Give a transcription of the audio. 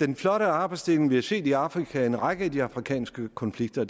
den flotte arbejdsdeling vi har set i afrika i en række af de afrikanske konflikter